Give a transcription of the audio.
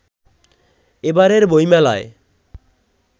এবারের বইমেলায়